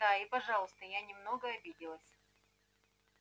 да и пожалуйста я немного обиделась